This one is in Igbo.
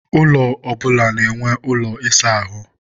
ụlọ ọbụla na-enwe ụlọ ịsa ahụ